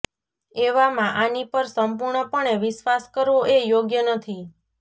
એવામાં આની પર સંપૂર્ણપણે વિશ્વાસ કરવો એ યોગ્ય નથી